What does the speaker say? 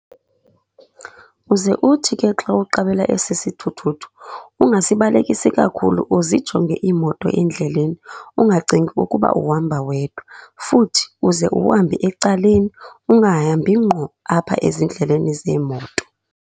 Uze uthi ke xa uqabela esi sithuthuthu ungasibalekisi kakhulu, uzijonge iimoto endleleni ungacingi ukuba uhamba wedwa. Futhi uze uhambe ecaleni, ungahambi ngqo apha ezindleleni zeemoto.